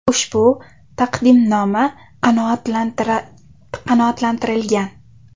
Ushbu taqdimnoma qanoatlantirilgan.